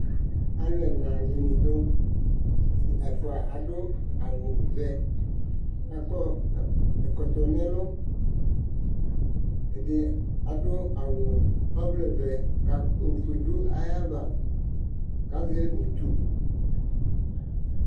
Alʋ ɛna dini du, ɛfua adʋ awʋ vɛ k'akɔ ɛkɔtɔ n'ɛlʋ, ɛdini adʋ awʋ ɔvlɛ vɛ ka ofue dʋ ayava k'azɛ utu